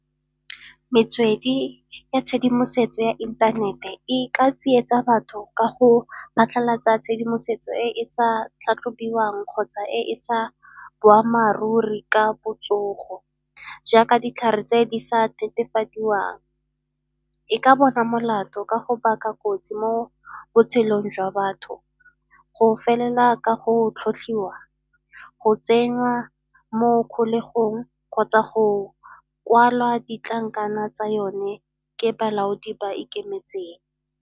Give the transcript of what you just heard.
Metswedi ya tshedimosetso ya inthanete e ka tsietsa batho ka go phatlhalatsa tshedimosetso e e sa tlhatlhobiwang kgotsa e e sa boammaaruri ka botsogo, jaaka ditlhare tse di sa netefadiwang. E ka bona molato ka go baka kotsi mo botshelong jwa batho go felela ka go tlhotlhiwa, go tsenywa mo kgolegong kgotsa go kwalwa ditlankana tsa yone ke balaodi ba ikemetseng.